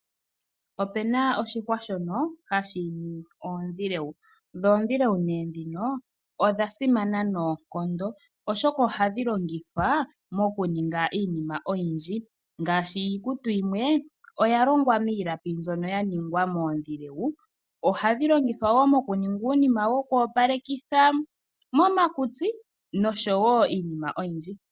Opena oshihwa shono hashi imi oondhilewu. Dho oondhilewu odha simana noonkondo oshoka ohadhi longithwa mokuninga iinima oyindji, ngaashi iikutu yimwe oya longwa miilapi mbyono ya ningwa moondhilewu. Ohadhi longithwa wo mokuninga uunima woku opalekitha momakutsi nosho wo iinima oyindji.